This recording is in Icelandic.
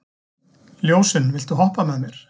Ljósunn, viltu hoppa með mér?